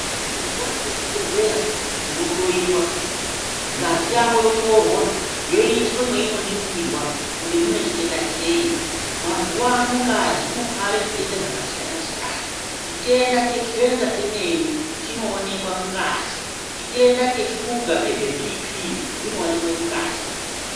Muntu waende ku chibhedhleya uno hloyiwa ngazi yako yotorwa yoiswe mweino ningirwa kuti mune chitenda cheyi mazuva ano ngazi inotware zvitenda zvaka siyana siyana chitenda che kenza chemene chino onekwa mu ngazi chitenda cheshuga nezve bhipi zvino onekwe mu ngazi.